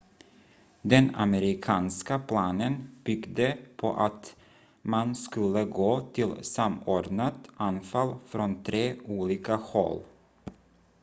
den amerikanska planen byggde på att man skulle gå till samordnat anfall från tre olika håll